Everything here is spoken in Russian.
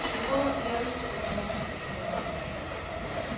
психолог в ярости повернулся к нему